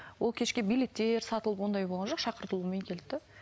ол кешке билеттер сатылып ондай болған жоқ шақыртылумен келді де